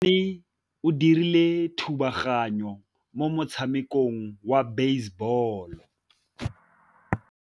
Mosimane o dirile thubaganyô mo motshamekong wa basebôlô.